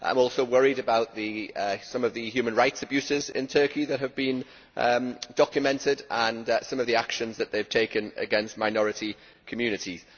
I am also worried about some of the human rights abuses in Turkey that have been documented and some of the actions that have been taken against minority communities.